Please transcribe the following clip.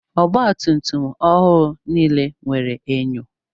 Ọgba tum tum ọhụụ nile nwere enyo.